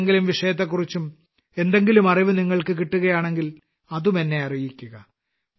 മറ്റേതെങ്കിലും വിഷയത്തെക്കുറിച്ചും എന്തെങ്കിലും അറിവ് നിങ്ങൾക്ക് കിട്ടുകയാണെങ്കിൽ അത് എന്നെ അറിയിക്കുക